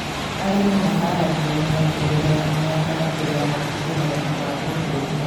Arĩmi maharagĩrĩria mĩgũnda ya mĩanga mbere ya kũhũthĩra thumu wa unduire